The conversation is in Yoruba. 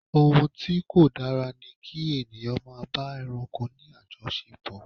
Ohun tí kò dára ni kí ènìyàn máa bá ẹranko ní àjọṣepò.